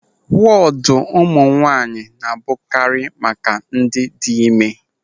Wọdụ ụmụ nwaanyị na-abụkarị maka ndị dị ịme.